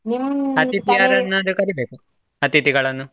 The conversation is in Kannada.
ಯಾರನ್ನಾದ್ರೂ ಕರಿಬೇಕು, ಅತಿಥಿಗಳನ್ನು.